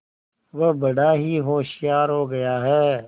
वह बड़ा ही होशियार हो गया है